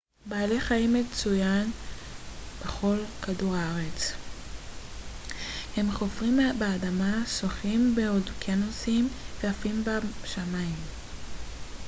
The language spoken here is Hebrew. בעלי חיים מצויין בכל כדור הארץ הם חופרים באדמה שוחים באוקיינוסים ועפים בשמיים